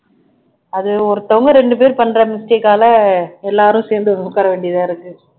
அது ஒருத்தவங்க ரெண்டு பேரு பண்ற mistake ஆல எல்லாரும் சேந்து உக்கார வேண்டியதா இருக்கு